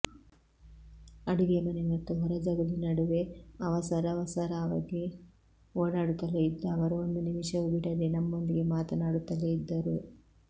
ಅಡುಗೆ ಮನೆ ಮತ್ತು ಹೊರಜಗುಲಿ ನಡುವೆ ಅವಸರವಸರವಾಗಿ ಓಡಾಡುತ್ತಲೇ ಇದ್ದ ಅವರು ಒಂದು ನಿಮಿಷವೂ ಬಿಡದೇ ನಮ್ಮೊಂದಿಗೆ ಮಾತಾಡುತ್ತಲೇ ಇದ್ದರು